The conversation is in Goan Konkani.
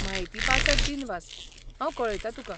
म्हायतीपासत दिनवास, हांव कळयतां तुका.